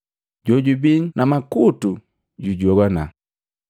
Jojubii na makutu jujogwana!”